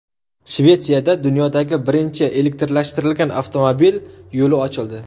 Shvetsiyada dunyodagi birinchi elektrlashtirilgan avtomobil yo‘li ochildi.